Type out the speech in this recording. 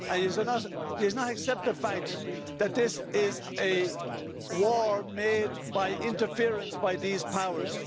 Do you not accept the fact that this is a war made by interference by these powers?